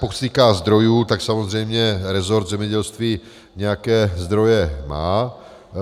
Pokud se týká zdrojů, tak samozřejmě resort zemědělství nějaké zdroje má.